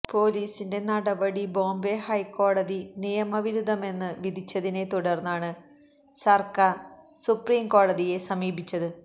പൊലീസിന്റെ നടപടി ബോംബെ ഹൈക്കോടതി നിയമവിരുദ്ധമെന്ന് വിധിച്ചതിനെ തുടർന്നാണ് സർക്കാർ സുപ്രീംകോടതിയെ സമീപിച്ചത്